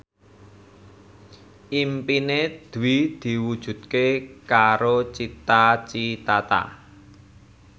impine Dwi diwujudke karo Cita Citata